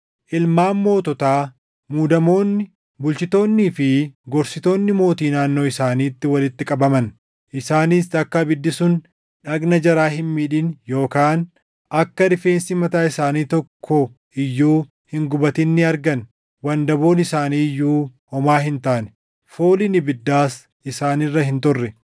ilmaan moototaa, muudamoonni, bulchitoonnii fi gorsitoonni mootii naannoo isaaniitti walitti qabaman. Isaanis akka ibiddi sun dhagna jaraa hin miidhin yookaan akka rifeensa mataa isaanii keessaa tokko iyyuu hin gubatin ni argan; wandaboon isaanii iyyuu homaa hin taane; fooliin ibiddaas isaan irra hin turre.